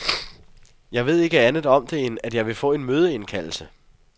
Jeg ved ikke andet om det end, at jeg vil få en mødeindkaldelse.